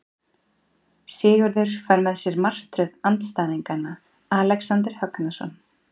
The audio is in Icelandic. Sigurður fær með sér martröð andstæðingana Alexander Högnason.